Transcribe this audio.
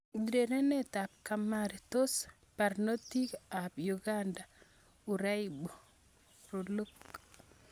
Urerenet ab Kamari: Tos barnotik ab Uganda uraibu? RELOOK